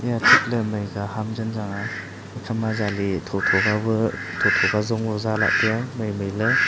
ema thik ley Mai ka ham zing changnga ekha ma jali tho tho ka bue tho tho ka jong e za taiya maimai ley.